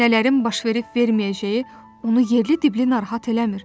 Nələrin baş verib-verməyəcəyi onu yerli-diblli narahat eləmir.